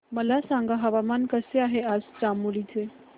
मला सांगा हवामान कसे आहे आज चामोली चे